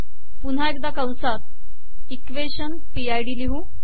पुन्हा एकदा कंसात इक्वेशन पी आय डी लिहू